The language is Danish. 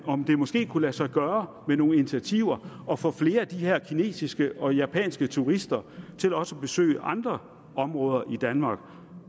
om det måske kunne lade sig gøre med nogle initiativer at få flere af de her kinesiske og japanske turister til også at besøge andre områder i danmark